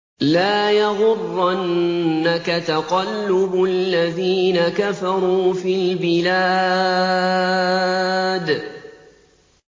لَا يَغُرَّنَّكَ تَقَلُّبُ الَّذِينَ كَفَرُوا فِي الْبِلَادِ